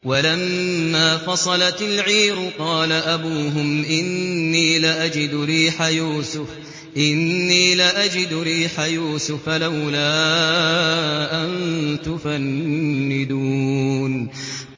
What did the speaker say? وَلَمَّا فَصَلَتِ الْعِيرُ قَالَ أَبُوهُمْ إِنِّي لَأَجِدُ رِيحَ يُوسُفَ ۖ لَوْلَا أَن تُفَنِّدُونِ